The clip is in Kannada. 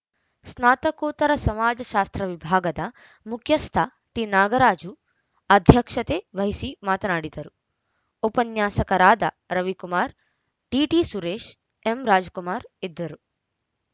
ಸ್ನಾತಕೋತ್ತರ ಸಮಾಜಶಾಸ್ತ್ರ ವಿಭಾಗದ ಮುಖ್ಯಸ್ಥ ಟಿನಾಗರಾಜು ಅಧ್ಯಕ್ಷತೆ ವಹಿಸಿ ಮಾತನಾಡಿದರು ಉಪನ್ಯಾಸಕರಾದ ರವಿಕುಮಾರ್‌ ಡಿಟಿಸುರೇಶ್‌ ಎಂರಾಜಕುಮಾರ್‌ ಇದ್ದರು